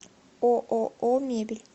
ооо мебель